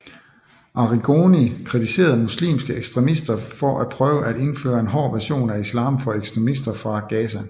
Arrigoni kritiserede muslimske ekstremister for at prøve at indføre en hård version af islam for ekstremister fra Gaza